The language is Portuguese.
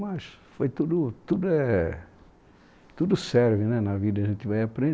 Mas foi tudo, tudo é, tudo serve né na vida, a gente vai